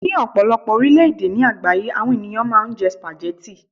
ní ọpọlọpọ orilẹ ede ni àgbáyé àwọn ènìyàn ma n je spaghetti